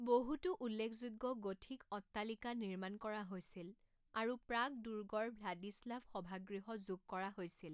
বহুতো উল্লেখযোগ্য গথিক অট্টালিকা নিৰ্মাণ কৰা হৈছিল আৰু প্ৰাগ দুৰ্গৰ ভ্লাদিস্লাভ সভাগৃহ যোগ কৰা হৈছিল।